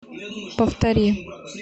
повтори